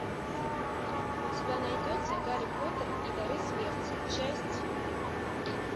у тебя найдется гарри поттер и дары смерти часть